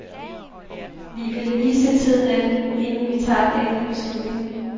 Vi vil lige se tiden an, inden vi tager den endelige beslutning.